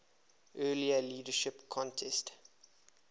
earlier leadership contest